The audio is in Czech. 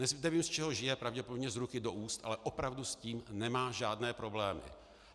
Nevím, z čeho žije, pravděpodobně z ruky do úst, ale opravdu s tím nemá žádné problémy.